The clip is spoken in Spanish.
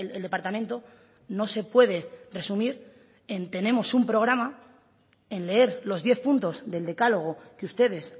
el departamento no se puede resumir en tenemos un programa en leer los diez puntos del decálogo que ustedes